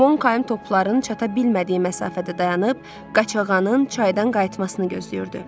Monkəym topların çata bilmədiyi məsafədə dayanıb Qaçağanın çaydan qayıtmasını gözləyirdi.